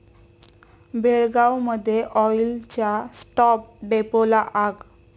बेळगावमध्ये ऑईलच्या स्टॉप डेपोला आग